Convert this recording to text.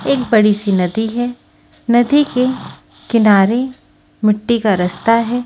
एक बड़ी सी नदी है नदी के किनारे मिट्टी का रास्ता है।